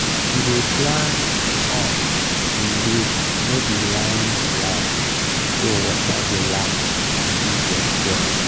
we dey plant corn in group no be line be line so water go last and bee go enjoy.